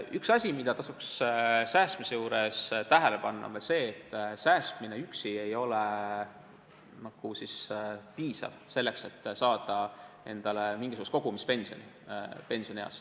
Üks asi, mida tasuks säästmise juures tähele panna, on veel see, et säästmine üksi ei ole piisav selleks, et saada endale pensionieaks mingisugust kogumispensioni.